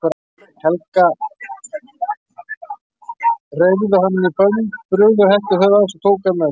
Helga, reyrðu hann í bönd, brugðu hettu yfir höfuð hans og tóku hann með sér.